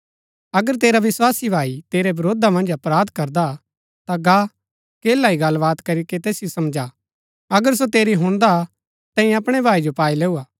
अगर तेरा विस्वासी भाई तेरै वरोधा मन्ज अपराध करदा ता गा अकेला ही गल्ल बात करीके तैसिओ समझा अगर सो तेरी हुणदा ता तैंई अपणै भाई जो पाई लैऊं हा